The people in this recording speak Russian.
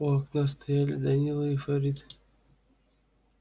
у окна стояли данила и фарид